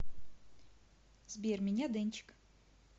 сбер меня дэнчик